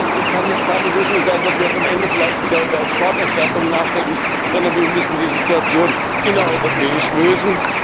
Das heißt, es kann jetzt keine Lösung sein, dass wir jetzt am Ende vielleicht wieder über Exporterstattungen nachdenken, sondern wir müssen die Situation innereuropäisch lösen.